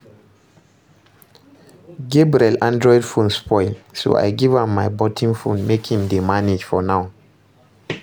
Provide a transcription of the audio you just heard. Gabriel android phone spoil so I give am my button phone make im dey manage for now